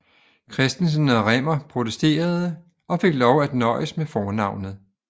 Christensen og Rimmer protesterede og fik lov til at nøjes med fornavnet